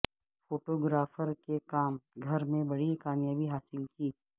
photographer کے کام گھر میں بڑی کامیابی حاصل کی